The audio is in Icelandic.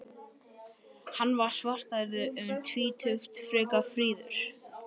Hann var svarthærður, um tvítugt, frekar fríður.